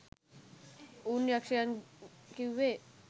උන් යක්ෂයන් කිව්වෙ